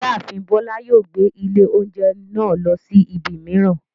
Ìyáàfin Bọ́lá yóò gbé ilé oúnjẹ náà lọ sí ibi mìíràn.